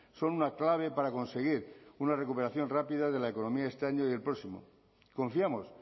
son una clave para conseguir una recuperación rápida de la economía de este año y el próximo confiamos